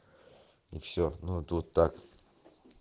и все ну тут так